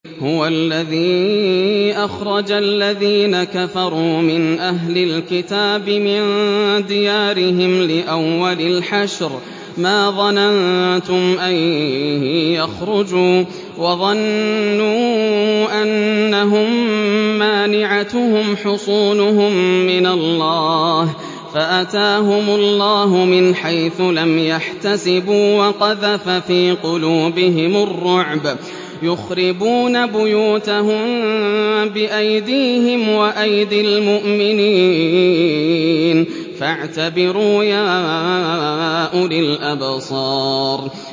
هُوَ الَّذِي أَخْرَجَ الَّذِينَ كَفَرُوا مِنْ أَهْلِ الْكِتَابِ مِن دِيَارِهِمْ لِأَوَّلِ الْحَشْرِ ۚ مَا ظَنَنتُمْ أَن يَخْرُجُوا ۖ وَظَنُّوا أَنَّهُم مَّانِعَتُهُمْ حُصُونُهُم مِّنَ اللَّهِ فَأَتَاهُمُ اللَّهُ مِنْ حَيْثُ لَمْ يَحْتَسِبُوا ۖ وَقَذَفَ فِي قُلُوبِهِمُ الرُّعْبَ ۚ يُخْرِبُونَ بُيُوتَهُم بِأَيْدِيهِمْ وَأَيْدِي الْمُؤْمِنِينَ فَاعْتَبِرُوا يَا أُولِي الْأَبْصَارِ